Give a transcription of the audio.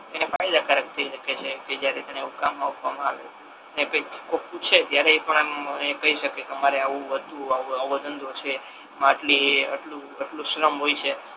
એને ફાયદા કારક થઈ હકે છે જ્યારે એને કામ આપવામા આવે અને કોઈ પૂછે ત્યારે એ પણ આમ કઈ શકે કે મારે આવુ હતુ આવો ધંધો છે આમાં આટલી એ આ આટલુ શ્રમ હોય છે.